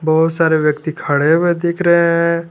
बहुत सारे व्यक्ति खड़े हुए देख रहे हैं।